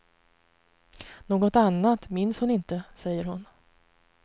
Något annat minns hon inte, säger hon.